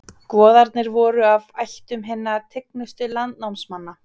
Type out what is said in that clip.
Goðarnir voru af ættum hinna tignustu landnámsmanna.